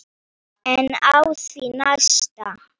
En á því næsta?